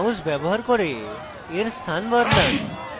mouse ব্যবহার করে এর স্থান বদলান